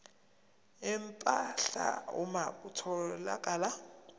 empahla uma kutholakala